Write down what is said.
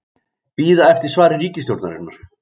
Bíða eftir svari ríkisstjórnarinnar